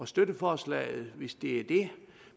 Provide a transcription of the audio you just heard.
støtte forslaget hvis det er det